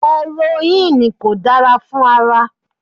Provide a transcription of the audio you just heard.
Erońnìì kò dára fún ara.